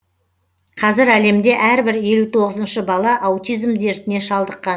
қазір әлемде әрбір елу тоғызыншы бала аутизм дертіне шалдыққан